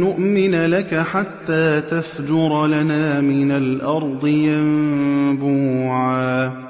نُّؤْمِنَ لَكَ حَتَّىٰ تَفْجُرَ لَنَا مِنَ الْأَرْضِ يَنبُوعًا